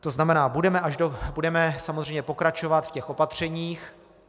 To znamená, budeme samozřejmě pokračovat v těch opatřeních.